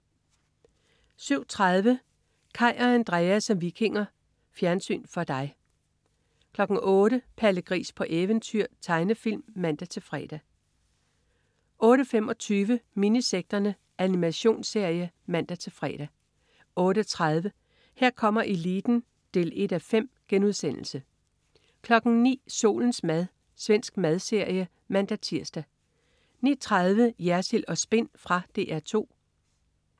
07.30 Kaj og Andrea som vikinger. Fjernsyn for dig 08.00 Palle Gris på eventyr. Tegnefilm (man-fre) 08.25 Minisekterne. Animationsserie (man-fre) 08.30 Her kommer eliten 1:5* 09.00 Solens mad. Svensk madserie (man-tirs) 09.30 Jersild & Spin. Fra DR 2